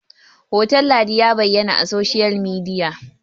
hoton ladin ya bayyana a soshiyal midiya!